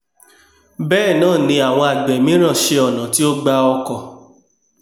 bẹ́ẹ̀náàni àwọn àgbẹ̀ míràn ṣẹ ọ̀nà tí ó gba ọkọ̀